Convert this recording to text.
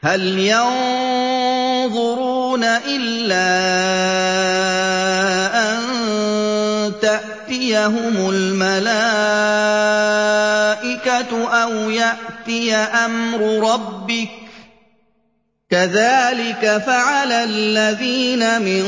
هَلْ يَنظُرُونَ إِلَّا أَن تَأْتِيَهُمُ الْمَلَائِكَةُ أَوْ يَأْتِيَ أَمْرُ رَبِّكَ ۚ كَذَٰلِكَ فَعَلَ الَّذِينَ مِن